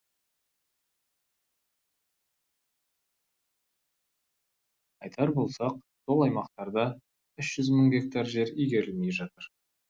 айтар болсақ сол аймақтарда үш жүз мың гектар жер игерілмей жатыр